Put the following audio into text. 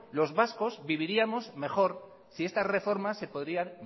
los vascos viviríamos mejor si esta reforma se